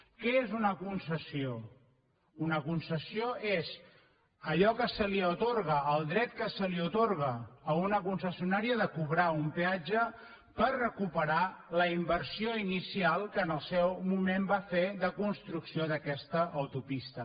què és una concessió una concessió és allò que se li atorga el dret que se li atorga a una concessionària de cobrar un peatge per recuperar la inversió inicial que en el seu moment va fer de construcció d’aquesta autopista